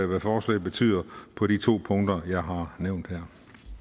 hvad forslaget betyder på de to punkter jeg har nævnt her